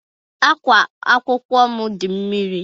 Ákwá akwụkwọ m dị mmiri.